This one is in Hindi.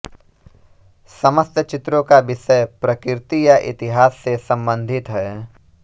समस्त चित्रों का विषय प्रकृति या इतिहास से संबंधित है